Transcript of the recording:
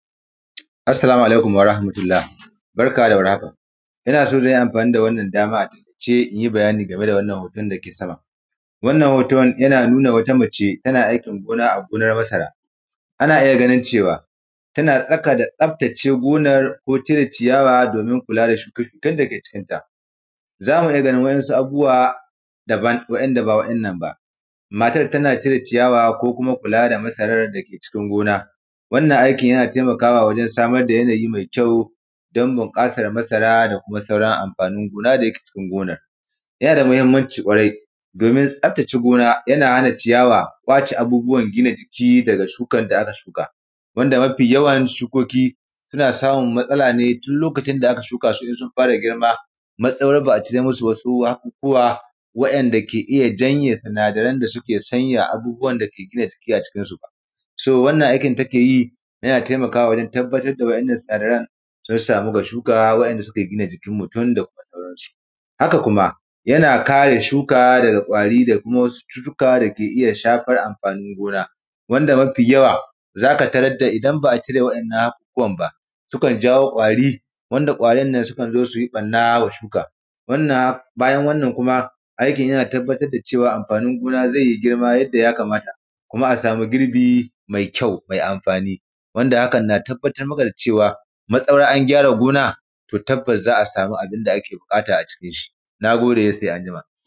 vAssalamu alaikum warahamatullah. Barkanmu da warhaka ina so zan yi amfani da wannan dama a taikace inyi bayani game da wannan hoton dake sama. Wannan hoton yana nuna wata mace tana aiki gona a gonar masara, ana iya ganin cewa tana tsaka da tsaftace gonar ko cire ciyawa domin kula da shuke-shuken dake cikinta. Zamu iya ganin wa’insu abubuwa dabam wa’inda ba wa’innan ba. Matar tana cire ciyawa ko kuma kula da masaran dake cikin gona, wannan aikin yana taimakawa wajen samar da yanayi mai kyau don bunƙasan masara da kuma sauran amfanin gona da yake cikin gonar. Yana da mahimmanci kwarai domin tsaftace gona yana hana ciyawa kwace abubuwan gina jiki daga shukan da aka shuka, wanda mafi yawan shukeki suna samun matsala ne tun lokacin da aka shukasu in sun fara girma matsawar ba a cire musu hakukuwa wa’inada ke iya janye sinadaran da suke sanyan abubuwan dake gina jiki a cikinsu ba. So wannan aikin da take yi yana taimakawa wajen tabbatar da wa’innan sinadaran sun samu ga shuka wa’inda suke gina mutum da kuma sauransu. Haka kuma yana kare shuka daga kwari da wasu cututuka dake shafan amfanin gona, wanda mafi yawa zaka tarar idan ba a cire wa’innan hakukuwan ba sukan jawo ƙwari, wanda ƙwarin nan sukan zo su yi barna wa shukan, wannan, bayan wannan kuma aiki yana tabbatar da cewa amfanin gona zai yi girma yadda ya kamata, kuma a samu girbi mai kyau mai amfani, wanda hakan na tabbatar maka da cewa matsawar an gyara gona to tabbaas za a samu abun da ake buƙata a cikin shi. Na gode, sai anjima.